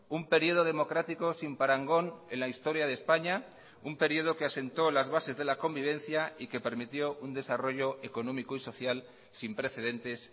un periodo democrático sin parangón en la historia de españa un periodo que asentó las bases de la convivencia y que permitió un desarrollo económico y social sin precedentes